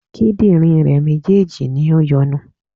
Kídìnrín rè méjèèjì ni o yọnu